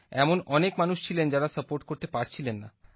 এমন অনেক মানুষ ছিলেন যারা সাপোর্ট করতে পারছিলেন না